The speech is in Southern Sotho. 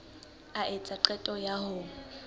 a etsa qeto ya ho